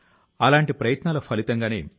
ఇవి ప్రపంచం లో మరెక్కడా కనిపించవు